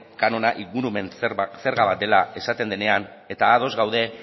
kanona ingurumen zerga bat dela esaten denean eta ados gaude